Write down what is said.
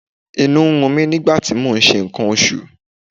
Inú ń run mí nígbà tí mò ń ṣe nǹkan oṣù.